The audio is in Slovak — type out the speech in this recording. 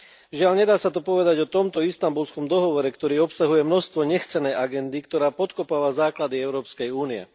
Žiaľ, nedá sa to povedať o tomto Istanbulskom dohovore, ktorý obsahuje množstvo nechcenej agendy, ktorá podkopáva základy Európskej únie.